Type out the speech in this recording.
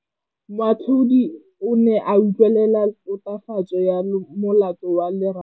Moatlhodi o ne a utlwelela tatofatsô ya molato wa Lerato.